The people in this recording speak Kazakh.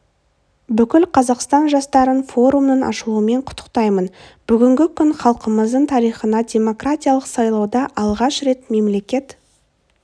бүкіл қазақстан жастарын форумның ашылуымен құттықтаймын бүгінгі күн халқымыздың тарихына демократиялық сайлауда алғаш рет мемлекет